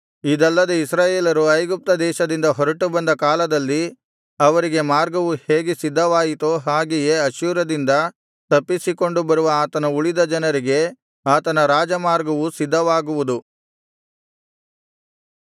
ಇದಲ್ಲದೆ ಇಸ್ರಾಯೇಲರು ಐಗುಪ್ತ ದೇಶದಿಂದ ಹೊರಟುಬಂದ ಕಾಲದಲ್ಲಿ ಅವರಿಗೆ ಮಾರ್ಗವು ಹೇಗೆ ಸಿದ್ಧವಾಯಿತೋ ಹಾಗೆಯೇ ಅಶ್ಶೂರದಿಂದ ತಪ್ಪಿಸಿಕೊಂಡು ಬರುವ ಆತನ ಉಳಿದ ಜನರಿಗೆ ಆತನ ರಾಜಮಾರ್ಗವು ಸಿದ್ಧವಾಗುವುದು